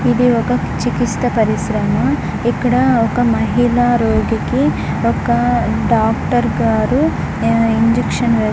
ఇది ఒక చికిత్స పరిశ్రమ. ఇక్కడ ఒక మహిళ రోగికి ఒక డాక్టర్ గారు ఇంజక్షన్స్ వేస్తు --